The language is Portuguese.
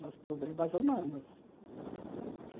Mas problemas humanos.